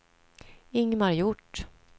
Ingmar Hjort